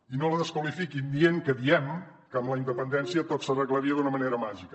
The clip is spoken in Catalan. i no la desqualifiquin dient que diem que amb la independència tot s’arreglaria d’una manera màgica